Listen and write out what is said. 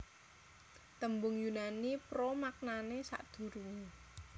Tembung Yunani pro maknane sadurunge